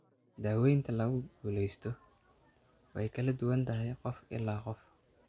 Daawaynta lagu guulaysto way kala duwan tahay qof ilaa qof.